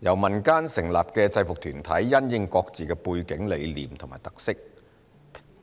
由民間成立的制服團體因應各自的背景、理念及特色，